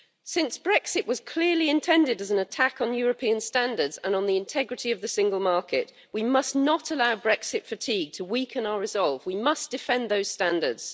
Since Brexit was clearly intended as an attack on European standards and on the integrity of the single market, we must not allow Brexit fatigue to weaken our resolve. We must defend those standards.